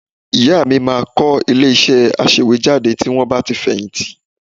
Ìyá mi máa kọ́ ilé-iṣẹ́ aṣèwéjádé tí wọ́n bá ti fẹ̀yìntì